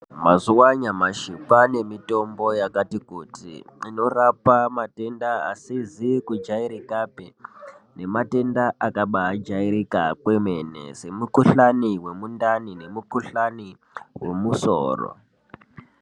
Muzuwa anyamashi kwane mitombo yakati kuti inorapa matenda asizi kujairikapi ngematenda akabajairika kwemene smekhuhlani wemundani nemikhuhlani wemusoro.